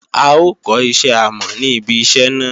A ó kọ́ iṣẹ́ àmọ̀ ní ibi iṣẹ́ náà